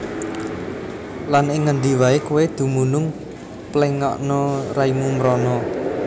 Lan ing ngendi waé kowé dumunung pléngakna raimu mrana